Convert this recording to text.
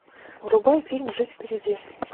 врубай фильм жизнь впереди